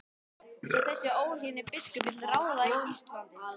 Svo þessi óhlýðni biskup vill ráða Íslandi?